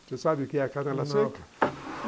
Você sabe o que é canela seca? não.